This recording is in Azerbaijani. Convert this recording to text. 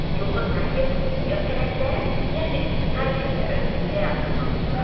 Yolda Tayger Ruyə pələnglərin, yəni taygerlərin həyatından söz açdı.